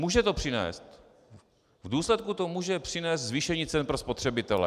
Může to přinést, v důsledku to může přinést zvýšení cen pro spotřebitele.